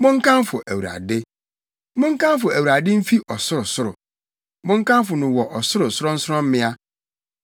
Monkamfo Awurade! Monkamfo Awurade mfi ɔsorosoro, monkamfo no wɔ ɔsoro sorɔnsorɔmmea.